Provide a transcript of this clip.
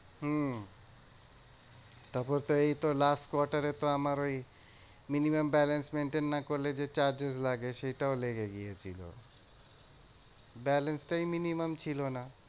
হম তারপরতো এইতো last quarter এ তো আমার ওই minimum balance maintain না করলে যে charges লাগে সেটাও লেগে গিয়েছিলো। balance টাই minimum ছিল না।